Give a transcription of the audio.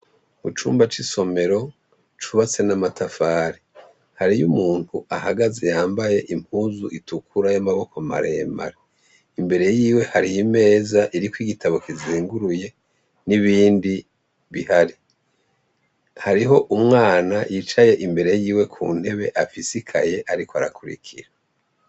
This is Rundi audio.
Mucumba cisomero cubatse namatafari hariho umuntu ahagaze yambaye impuzu itukura yamaboko maremare imbere yiwe hari imeze iriko igitabo kizinguruye nibindi bihari hariho umwana yicaye imbere yiwe kuntebe afise ikaye ariko arakurikira